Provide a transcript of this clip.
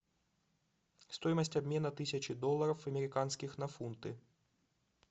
стоимость обмена тысячи долларов американских на фунты